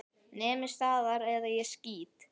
Nemið staðar eða ég skýt!